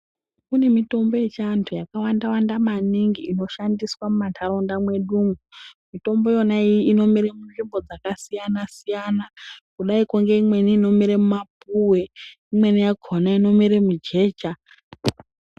Kune mitombo yechiantu yakawanda wanda maningi inoshandiswa mumantaraunda mwedu umwu, mitombo iyona iyi inomere munzvimbo dzakasiyana siyana kudaiko ngeimweni inomere mumapuwe imweni yakona inomere mujecha.